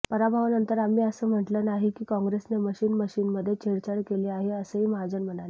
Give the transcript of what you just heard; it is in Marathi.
पराभवानंतर आम्ही असं म्हटलं नाही की काँग्रेसने मशीन मशीनमध्ये छेडछाड केली आहे असंही महाजन म्हणाले